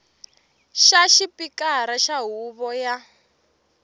xa xipikara xa huvo ya